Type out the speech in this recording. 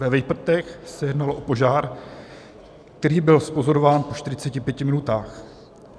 Ve Vejprtech se jednalo o požár, který byl zpozorován po 45 minutách.